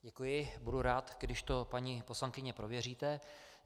Děkuji, budu rád, když to paní poslankyně prověříte.